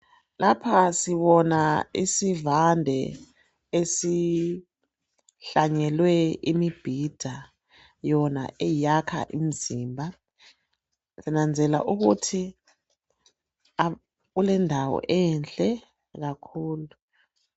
Lapha sibona isivande esihlanyelwe imibhida yona eyakha imizimba sinanzelela ukuthi kulendawo enhle kakhulu.